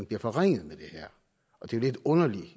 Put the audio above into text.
bliver forringet med det her og det er lidt underligt